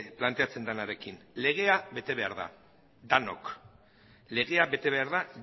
planteatzen denarekin legea bete behar da denok legea bete behar da